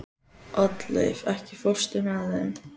Oddleif, ekki fórstu með þeim?